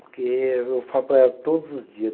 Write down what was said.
Porque eu falo para ela todos os dias.